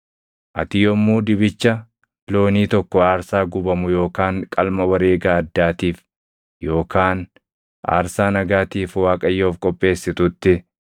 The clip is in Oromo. “ ‘Ati yommuu dibicha loonii tokko aarsaa gubamu yookaan qalma wareega addaatiif yookaan aarsaa nagaatiif Waaqayyoof qopheessitutti,